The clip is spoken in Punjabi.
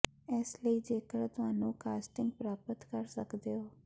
ਇਸ ਲਈ ਜੇਕਰ ਤੁਹਾਨੂੰ ਕਾਸਟਿੰਗ ਪ੍ਰਾਪਤ ਕਰ ਸਕਦੇ ਹੋ